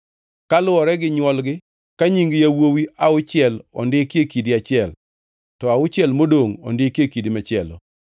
kaluwore gi nywolgi ka nying yawuowi auchiel ondikie kidi achiel, to auchiel modongʼ ondikie kidi machielo.